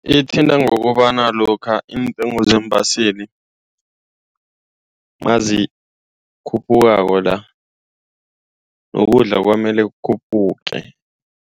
Ithinte ngokobana lokha iintengo zeembaseli nazikhuphukako la, nokudla kwamele kukhuphuke.